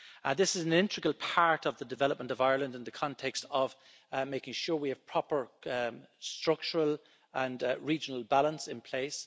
This is an integral part of the development of Ireland in the context of making sure we have proper structural and regional balance in place